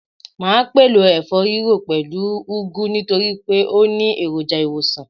Màá pèlò ẹ̀fọ́-rírò pẹ̀lú u úgú nítorípé ó ni èròjà ìwòsàn